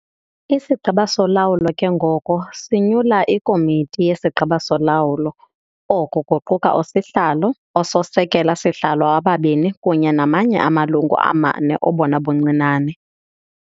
IsiGqeba soLawulo ke ngoko sinyula iKomiti yesiGqeba soLawulo - oku kuquka uSihlalo, ooSekela-sihlalo ababini kunye namanye amalungu amane obona buncinane.